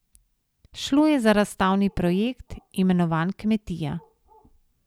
Šlo je za razstavni projekt, imenovan Kmetija.